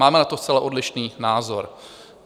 Máme na to zcela odlišný názor.